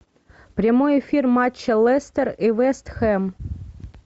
прямой эфир матча лестер и вест хэм